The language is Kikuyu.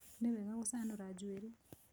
Nĩ wega gũcanũra njuĩrĩ.